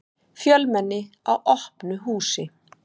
Fjölmenni á opnu húsi